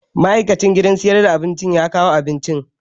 Ma'aikacin gidan sayar da abinci ya kawo abincin